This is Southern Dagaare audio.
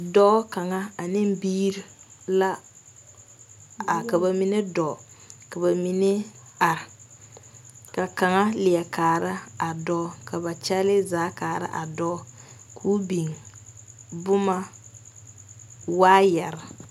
Dɔɔ kaŋa ane birii la, ka bamine dɔ ,ka ba mine are ka kaŋa leɛ kaare a dɔɔ .Ka ba kyɛle zaa kaare a dɔɔ ko'o biŋ boma yaayɛre.